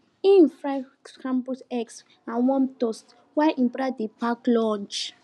e fry scramble eggs and warm toast while him brother dey pack lunch